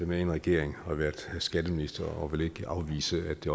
med i en regering og har været skatteminister og vil ikke afvise at det